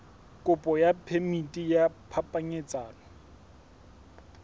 kopo ya phemiti ya phapanyetsano